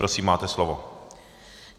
Prosím, máte slovo.